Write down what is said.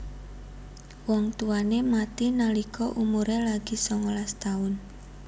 Wong tuwane mati nalika umuré lagi songolas taun